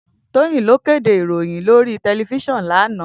Toyin ló kédé iróyin lóri tèlèfísìòn làná